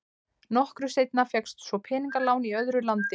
Nokkru seinna fékkst svo peningalán í öðru landi.